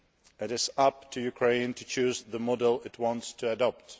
It is up to Ukraine to choose the model it wants to adopt.